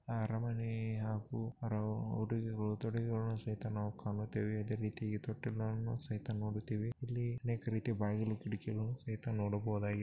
ಅರಮನೆ ಹಾಗೂ ಹೊರ ಉಡುಗೆಗಳು ತೋಡುಗೆಗಳ್ಳನ ಸಹಿತ ನಾವು ಕಾಣುತ್ತೆವೆ ಇದೆ ರೀತಿ ತೊಟ್ಟಿಳುಗಳನ್ನು ಸಹಿತ ನಾವು ನೋಡಿತೀವಿ ಇಲ್ಲಿ ಅನೇಕ ರೀತಿಯ ಬಾಗಿಲು ಕಿಡಿಕೆಗಳ್ಳನು ಸಹಿತ ನೋಡಬಹುದಾಗಿದೆ.